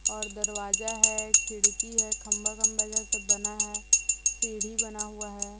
और दरवाजा है खिड़की है खंभा-खंभा जैसा बना है सीढ़ी बना हुआ है।